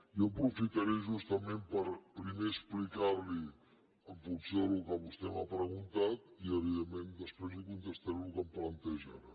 jo aprofitaré justament per primer explicar li ho en funció del que vostè m’ha preguntat i evidentment després li contestaré el que em planteja ara